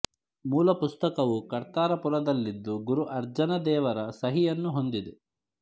ಮೂಲ ಪುಸ್ತಕವು ಕರ್ತಾರಪುರ ದಲ್ಲಿದ್ದು ಗುರು ಅರ್ಜನ ದೇವ ರ ಸಹಿಯನ್ನು ಹೊಂದಿದೆ